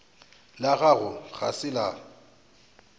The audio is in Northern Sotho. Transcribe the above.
la gago ga se la